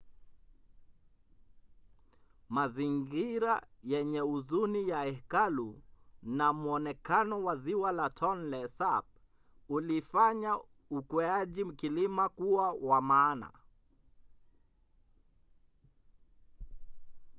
mazingira yenye huzuni ya hekalu na mwonekano wa ziwa la tonle sap ulifanya ukweaji kilima kuwa wa maana